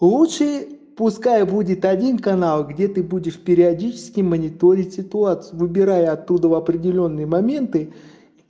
лучше пускай будет один канал где ты будешь периодически мониторить ситуацию выбирай оттуда определённые моменты